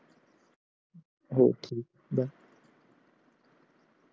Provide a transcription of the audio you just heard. हो ठीक आहे बाय